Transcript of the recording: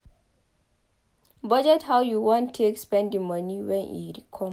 Budget how you want take spend the money when e come